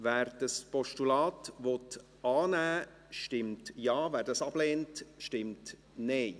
Wer das Postulat annehmen will, stimmt Ja, wer das ablehnt, stimmt Nein.